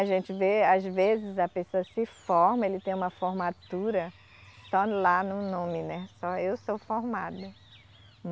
A gente vê, às vezes, a pessoa se forma, ele tem uma formatura só lá no nome, né, só eu sou formado, né